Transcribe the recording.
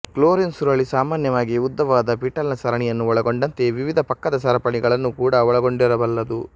chlorine ಸುರುಳಿ ಸಾಮಾನ್ಯವಾಗಿ ಉದ್ದವಾದ ಪಿಟಾಲ್ ನ ಸರಣಿಯನ್ನು ಒಳಗೊಂಡಂತೆ ವಿವಿಧ ಪಕ್ಕದ ಸರಪಣಿಗಳನ್ನು ಕೂಡ ಒಳಗೊಂಡಿರಬಲ್ಲದು